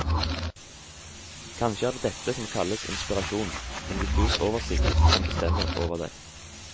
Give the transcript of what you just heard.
Kanskje er det dette som kalles inspirasjon, en diffus oversikt som bestemmer over deg.